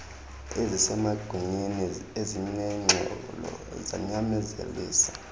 ezisemagunyeni ezinengxolo zanyanzelisa